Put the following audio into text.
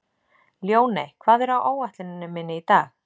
Ljóney, hvað er á áætluninni minni í dag?